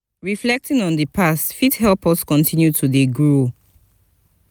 reflecting on di past fit help us continue to dey grow